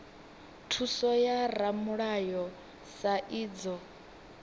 thuso ya ramulayo sa idzwo